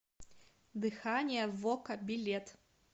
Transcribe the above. дыхание вока билет